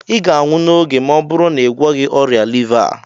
ị ga-anwụ n'oge ma ọ bụrụ na ị gwọghị ọrịa liva a